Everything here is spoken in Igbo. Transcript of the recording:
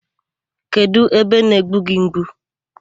Kedụ ebe na-egbu gị mgbu?